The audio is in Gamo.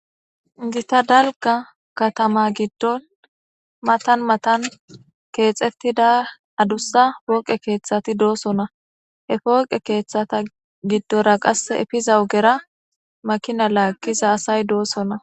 gita dalga katama giddon matan matan keexettida adussa pooqe keeththati doosona he pooqe keeththata giddora qasse efiza ogera makina laagiza asay doossona